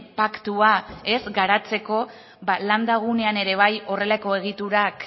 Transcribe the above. paktua garatzeko landa gunean ere bai horrelako egiturak